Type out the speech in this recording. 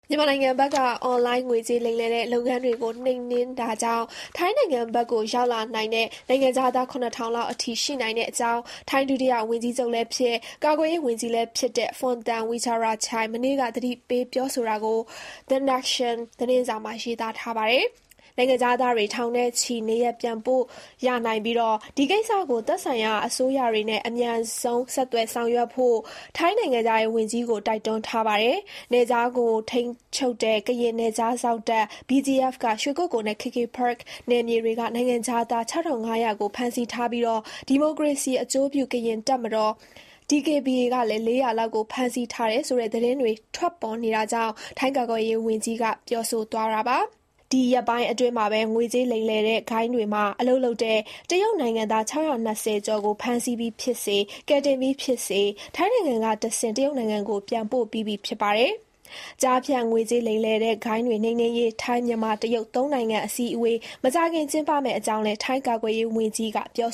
မြန်မာနိုင်ငံဘက်က အွန်လိုင်းငွေလိမ်လုပ်ငန်းတွေကို နှိမ်နင်းတာကြောင့် ထိုင်းနိုင်ငံဘက်ကိုထွက်ပြေးလာတဲ့ နိုင်ငံခြားသား (၇,၀၀၀) လောက်အထိ ရှိနိုင်တဲ့အကြောင်း ထိုင်းကာကွယ်ရေးဝန်ကြီး Phumtham Wechayachai မနေ့က သတိပေးတာကို The Nation သတင်းစာမှာ ရေးပါတယ်။ နိုင်ငံခြားသားထောင်နဲ့ချီကို နေရပ်ပြန်ပို့ရနိုင်ပြီး ဒီကိစ္စကို သက်ဆိုင်ရာအစိုးရတွေနဲ့ အမြန်ဆုံး ဆက်သွယ် ဆောင်ရွက်ဖို့ ထိုင်းနိုင်ငံခြားရေးဝန်ကြီးကို တိုက်တွန်းထားပါတယ်။ နယ်ခြားကိုထိန်းချုပ်တဲ့ ကရင်နယ်ခြားစောင့်တပ် BGF က ရွှေကုက္ကိုနဲ့ KK Park နယ်မြေတွေက နိုင်ငံခြားသား (၆,၅၀၀) ကို ဖမ်းဆီးထားပြီး ဒီမိုကရေစီအကျိုးပြု ကရင်တပ်မတော် (DKBA) ကလည်း (၄၀၀) လောက်ကို ဖမ်းဆီးထားတယ်ဆိုတဲ့သတင်းတွေ ထွက်နေတာကြောင့် ထိုင်းကာကွယ်ရေးဝန်ကြီးက အခုလို ပြောသွားတာပါ။ ဒီရက်ပိုင်းအတွင်းမှာပဲ ငွေကြေးလိမ်လည်တဲ့ဂိုဏ်းတွေမှာအလုပ်လုပ်တဲ့ တရုတ်နိုင်ငံသား (၆၂၀) ကျော်ကို ဖမ်းဆီးပြီးဖြစ်စေ၊ ကယ်တင်ပြီးဖြစ်စေ ထိုင်းနိုင်ငံကတဆင့် တရုတ်နိုင်ငံကို ပြန်ပို့ပြီးဖြစ်ပါတယ်။ ကျားဖြန့် ငွေကြေးလိမ်လည်တဲ့ဂိုဏ်းတွေနှိမ်နင်းရေး ထိုင်း၊ မြန်မာ၊ တရုတ် သုံးနိုင်ငံ အစည်းအဝေး မကြာခင် ကျင်းပမယ့် အကြောင်းလည်း ထိုင်း ကာကွယ်ရေးဝန်ကြီး Phumtham Wechayachai က ပြော